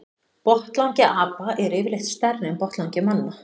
Botnlangi apa er yfirleitt stærri en botnlangi manna.